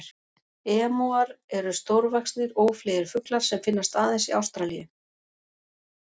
Emúar eru stórvaxnir, ófleygir fuglar sem finnast aðeins í Ástralíu.